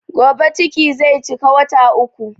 Gobe ciki zai cika wata uku